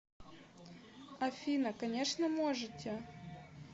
афина конечно можете